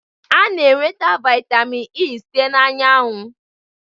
A na-enweta vitamin E site na anyanwụ